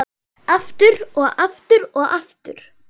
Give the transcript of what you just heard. Aftur, og aftur, og aftur.